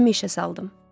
Dilimi işə saldım.